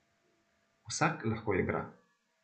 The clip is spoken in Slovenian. Vsak lahko igra.